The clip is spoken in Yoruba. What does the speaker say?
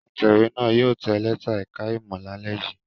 Atẹ̀wé náà yóò tẹ lẹ́tà ẹ̀ka-ìmọ̀ lálẹ́ yìí.